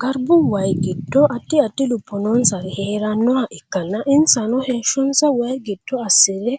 Garbu wayi gido addi addi lubo noonsari heeranoha ikanna insano heeshonsa wayi gido asire